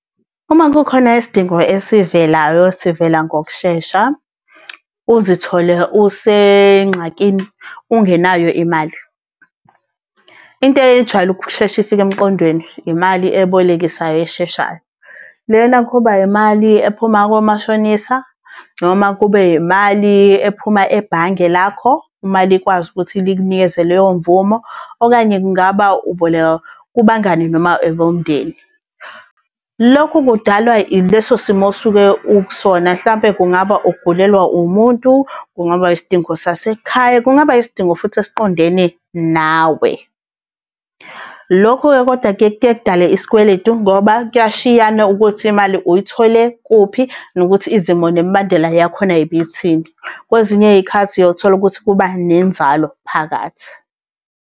Uma kukhona isidingo ezivelayo sivela ngokushesha, uzithole usenxakini ungenayo imali. Into eyijwayele ukusheshe ifike emqondweni imali ebolekisayo esheshayo. Lena kuba imali ephuma komashonisa noma kube imali ephuma ebhange lakho, uma likwazi ukuthi likunikeze leyo mvumo, okanye kungaba uboleka kubangani noma abomndeni. Lokhu kudalwa ileso simo osuke ukusona hlampe kungaba ugulelwa umuntu, kungaba isidingo sasekhaya, kungaba isidingo futhi esiqondene nawe. Lokhu-ke kodwa kuyeke kudale isikweletu ngoba kuyashiyana ukuthi imali uyithole kuphi, nokuthi izimo nemibandela yakhona ibithini. Kwezinye iy'khathi uyothola ukuthi kuba nenzalo phakathi.